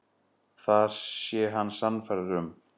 Það sé hann sannfærður um.